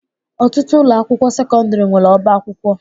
Ọtụtụ ụlọakwụkwọ sekọndịrị nwere ọbaakwụkwọ